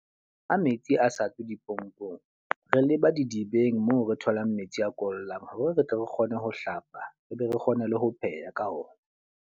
Ha metsi a sa tswe dipompong, re leba didibeng moo re tholang metsi a kollang. Ho re re tle re kgone ho hlapa, re be re kgone le ho pheha ka ona.